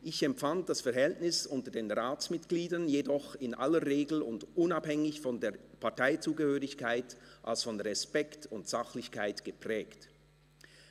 Ich empfand das Verhältnis unter den Ratsmitgliedern jedoch in aller Regel und unabhängig von der Parteizugehörigkeit als von Respekt und Sachlichkeit geprägt